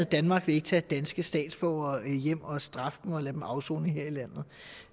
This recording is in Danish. danmark vil ikke tage danske statsborgere hjem og straffe dem afsone